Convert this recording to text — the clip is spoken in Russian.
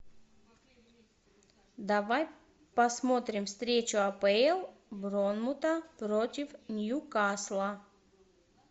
давай посмотрим встречу апл борнмута против ньюкасла